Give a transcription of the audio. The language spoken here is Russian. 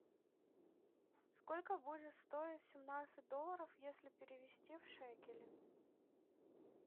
сколько будет стоить семнадцать долларов если перевести в шекели